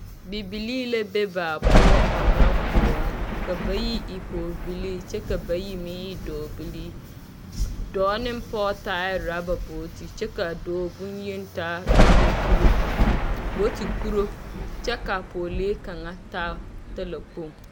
Bibilii la be baa poɔ ɔnnɔ kõɔ, ka bayi e pɔɔbilii kyɛ ka bayi meŋ e dɔɔbilii. Dɔɔ neŋ pɔɔ taaɛ rɔba booti kyɛ k'a dɔɔ bonyen taa rɔba kuro booti kuro. Kyɛ ka pɔɔlee kaŋa taa talakpoŋ.